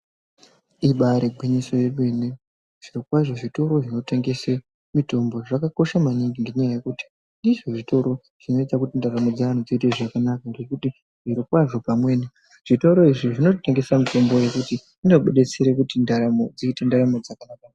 Ibari gwinyiso yemene zvirokwazvo zvitoro zvinotengese mitombo zvakakosha maningi ngendaa yekuti zviro kwazvo zvitoro zvinoita kuti ndaramo dzevantu dziite zvakanaka. Ngekuti zvirokwazvo pameni zvitoro izvi zvinotengesa mitombo yekuti inobuditsire kuti ndaramo dzite ndaramo dzakanaka.